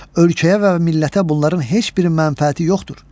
Ölkəyə və millətə bunların heç bir mənfəəti yoxdur.